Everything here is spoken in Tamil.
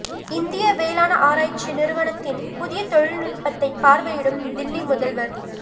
இந்திய வேளாண் ஆராய்ச்சி நிறுவனத்தின் புதிய தொழில்நுட்பத்தை பார்வையிடும் தில்லி முதல்வர்